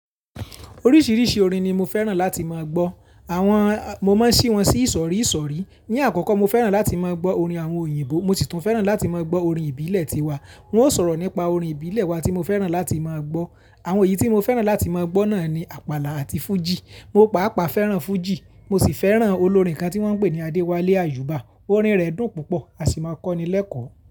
Oríṣiríṣi orin ni mo fẹ́ràn láti má gbọ́. Àwọn, mo máa ń ṣí wọn sí ìsọ̀rí ìsọ̀rí. Ni àkọ́kọ́ mo fẹ́ràn láti má gbọ́ orin àwọn òyìnbó, mo sì tún fẹ́ràn láti máa gbọ́ orin ìbílẹ̀ ti wa. N o sọ̀rọ̀ nípa orin ìbílẹ̀ wa tí mo fẹ́ràn láti máa gbọ́. Àwọn èyí tí mo fẹ́ràn láti máa gbọ́ náà ni Àpàlà àti Fújì. Mo pàápàá fẹ́ràn fújì. Mo sì fẹ́ràn olórin kan tí wọ́n ń pè ní Adewale Ayuba. Orin rẹ̀ dùn púpọ̀, a sì máa kọ́ni lẹ́kọ̀ọ́.